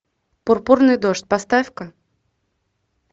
пурпурный дождь поставь ка